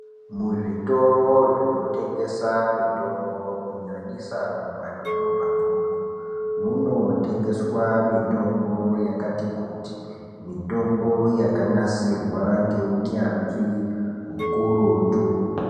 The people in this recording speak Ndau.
Zvitoro zvinotengesa mitombo kunyanyisa mumadhorobha mwomwo munotengeswa mutombo yakati kuti. Mutombo yakanasirwa ngeunyanzvi hukurutu.